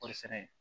Kɔɔri sɛnɛ